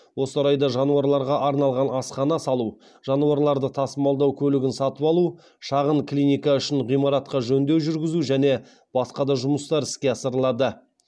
осы орайда жануарларға арналған асхана салу жануарларды тасымалдау көлігін сатып алу шағын клиника үшін ғимаратқа жөндеу жүргізу және басқа да жұмыстар іске асырылады